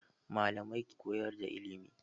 Malamai ke koyar da ilimi